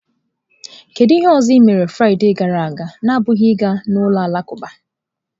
Kedu ihe ọzọ ị mere Fraịde gara aga na-abụghị ịga ụlọ alakụba?.